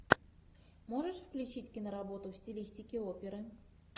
можешь включить киноработу в стилистике оперы